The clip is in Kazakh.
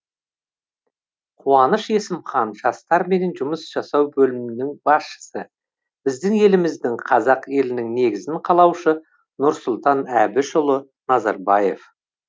қуаныш есімхан жастармен жұмыс жасау бөлімінің басшысы біздің еліміздің қазақ елінің негізін қалаушы нұрсұлтан әбішұлы назарбаев